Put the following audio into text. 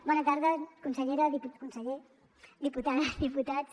bona tarda consellera conseller diputades diputats